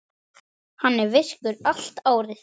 Hann er virkur allt árið.